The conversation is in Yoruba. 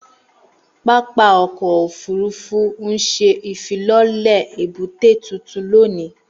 Pápá ọkọ ofurufu n ṣe ifilọlẹ ebute tuntun loni.